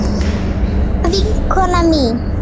Fallega vinkona mín.